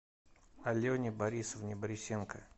алене борисовне борисенко